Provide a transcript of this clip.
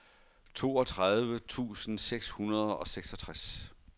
toogtredive tusind seks hundrede og seksogtres